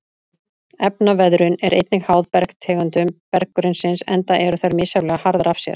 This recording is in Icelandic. Efnaveðrun er einnig háð bergtegundum berggrunnsins enda eru þær misjafnlega harðar af sér.